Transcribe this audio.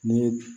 Ni